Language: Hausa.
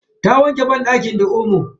Ta wanke banɗakin da omo.